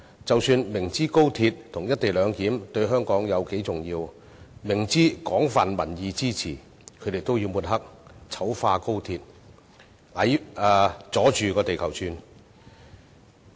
即使他們明知高鐵與"一地兩檢"對香港有多重要，亦明知有廣泛民意支持，也要抹黑、醜化高鐵，"阻着地球轉"。